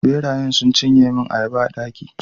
ɓeraye sun cinye mun ayaba a daki